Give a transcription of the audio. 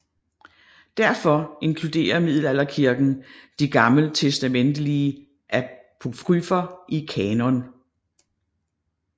Derfor inkluderede middelalderkirken de gammeltestamentlige apokryfer i kanon